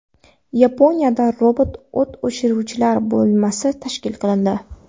Yaponiyada robot o‘t o‘chiruvchilar bo‘linmasi tashkil qilindi.